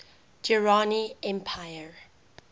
durrani empire